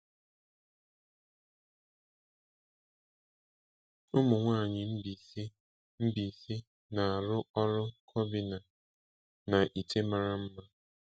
Ụmụnwaanyị Mbaise Mbaise na-arụ ọrụ cobinnah na ite mara mma.